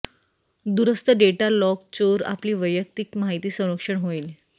दूरस्थ data lock चोर आपली वैयक्तिक माहिती संरक्षण होईल